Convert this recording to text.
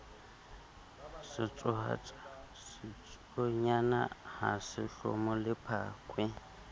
sa tsuonyana ha se hlomolephakwe